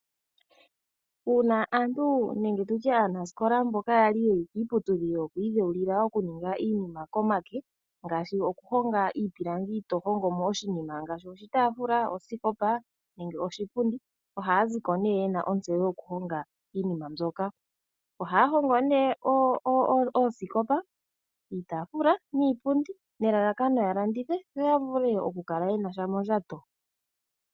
Uuna aantu nenge tutye aanasikola mboka yali yeli kiiputudhilo yokwii dheulila okuninga iinima komake ngaashi oku honga iipilangi to hongomo oshinima ngaashi oshitaafula, oosikopa nenge oshipundi ohaya ziko nee yena ontseyo yoku honga iinima mbyoka. Ohaya hongo nee oosikopa, iitaafula niipundi nelalakano ya landithe yo ya vule oku kala yena sha mondjato.